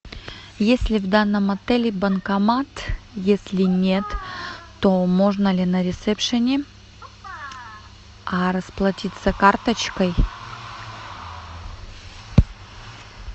есть ли в данном отеле банкомат если нет то можно ли на ресепшене расплатиться карточкой